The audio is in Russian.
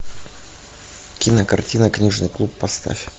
кинокартина книжный клуб поставь